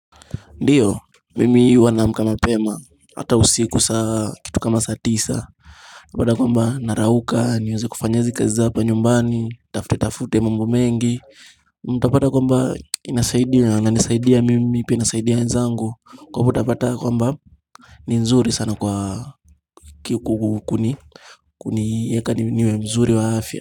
Ndiyo, mimi huwa naamka mapema, hata usiku saa kitu kama saa tisa Utapata kwamba narauka, niweze kufanya hizi kazi za hapa nyumbani, nitafutetafute mambo mengi Utapata kwamba inasaidia inanisaidia mimi pia inasaidia wenzangu kwa hivyo utapata yakwamba ni nzuri sana kwa kikukuni Kuniweka niwe mzuri wa afya.